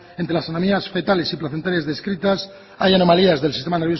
entre las anomalías fetales y placenteras descritas haya anomalías del sistema